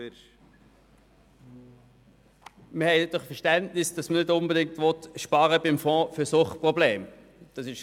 Wir haben Verständnis, dass man nicht unbedingt beim Fonds für Suchtprobleme sparen will.